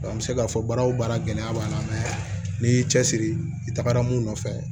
an bɛ se k'a fɔ baara o baara gɛlɛya b'an na mɛ n'i y'i cɛsiri i tagara mun nɔfɛ